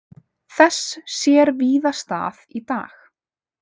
Þess sér víða stað í dag.